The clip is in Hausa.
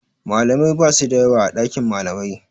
Malamai basu da yawa a ɗakin malamai.